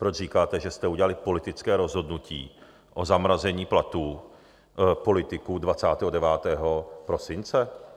Proč říkáte, že jste udělali politické rozhodnutí o zamrazení platů politiků 29. prosince?